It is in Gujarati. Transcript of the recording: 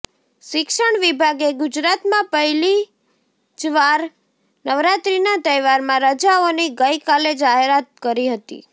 શિક્ષણ વિભાગે ગુજરાતમાં પહેલી જ વાર નવરાત્રીના તહેવારમાં રજાઓની ગઈ કાલે જાહેરાત કરી હતી